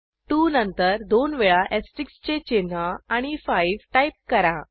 2 नंतर दोन वेळा एस्टेरिस्क चे चिन्ह आणि 5 टाईप करा